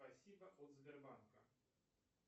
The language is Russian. спасибо от сбербанка